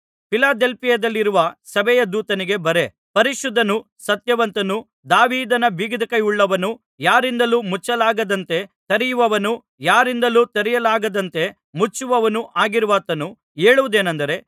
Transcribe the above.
ಫಿಲದೆಲ್ಫಿಯದಲ್ಲಿರುವ ಸಭೆಯ ದೂತನಿಗೆ ಬರೆ ಪರಿಶುದ್ಧನೂ ಸತ್ಯವಂತನೂ ದಾವೀದನ ಬೀಗದಕೈಯುಳ್ಳವನೂ ಯಾರಿಂದಲೂ ಮುಚ್ಚಲಾಗದಂತೆ ತೆರೆಯುವವನೂ ಯಾರಿಂದಲೂ ತೆರೆಯಲಾಗದಂತೆ ಮುಚ್ಚುವವನೂ ಆಗಿರುವಾತನು ಹೇಳುವುದೇನಂದರೆ